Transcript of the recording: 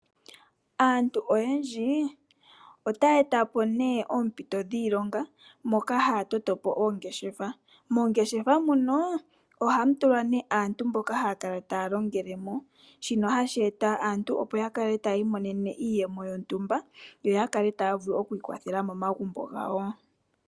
Aantu oyendji ota yetapo oompito dhiilonga shi taa toto oongeshefa, moongeshefa muno ohamu tulwa aantu mboka yahala okukala taalongelemo shino hashi kwathele aantu yiimonene iiyemo yontumba yo yavule okwikwathela momagumbo ngawo.